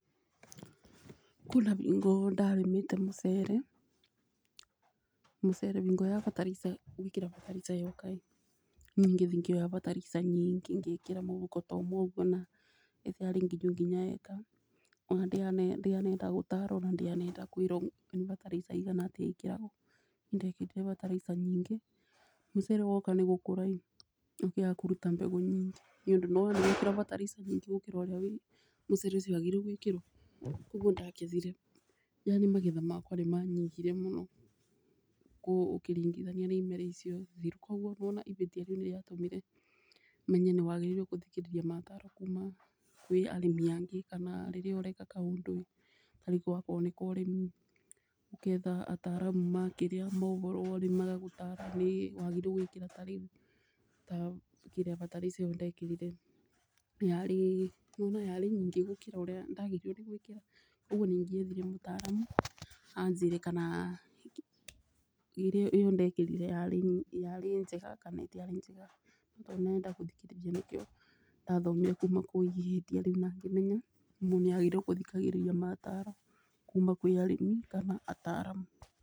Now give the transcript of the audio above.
Kwĩna bingo ndarĩmĩte mũcere, mũcere ngoya bataraica ngekĩra bataraica ĩyo kaĩ, niĩ ngĩthiĩ ngĩoya bataraica nyingĩ ngĩkĩra mũbũko ta ta ũmwe ũguo na ndĩarĩ nginyu nginya ĩka, ona ndianenda gũtarwo ona ndianenda kwĩrwo nĩ bataraica igana atĩa ĩkagĩrwo. Ndekĩrire bataraica nyingĩ mũcere woka nĩ gũkũra ĩ ĩkĩaga kũruta mbegũ nyingĩ nĩ ũndũ nĩ wona nĩ yekĩrwo bataraica nyingĩ gũkĩra ũrĩa mũcere ũcio wagĩrĩirwo nĩ gũĩkĩrwo ũguo nĩ ndakĩririe, na niĩ magetha makwa nĩ manyibire mũno ũkĩringithania na imera icio thiru. Koguo nĩ wona ibĩtia rĩu nĩ rĩatũmire menye nĩ wagĩrĩire gũthikĩriria mataro kuma kwĩ arĩmi angĩ kana rĩrĩa ũreka kaũndũ tarĩu akorwo nĩ ka ũrĩmi ũketha ataramu makĩrĩa ma ũboro wa ũrĩmi magagũtara nĩ wagĩrĩirwo gwĩkĩra ta rĩu ta kĩrĩa bataraica ĩyo ndekĩrire yarĩ kuga yarĩ nyingĩ gũkĩra ũrĩa ndagĩrĩirwo gwĩkĩra. Ũguo nĩ ingiethire mũtaramu anjĩre kana ĩyo ndekĩrire yarĩ njega kana ndĩarĩ njega, Ndianenda kũthikĩrĩria nĩkio ndathomire kuma kũrĩ ihĩtia rĩu na ngĩmenya mũndũ nĩ agĩrĩirwo kũthikagĩrĩria mataro kuma kũrĩ arĩmi kana ataramu.